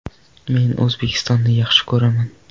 Men O‘zbekistonni yaxshi ko‘raman.